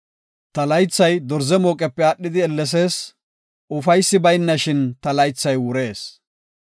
Ta laythay dorze mooqepe aadhidi ellesees; ufaysi baynashin ta laythay wurees.